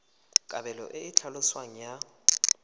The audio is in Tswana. kabelo e e tlhaloswang ya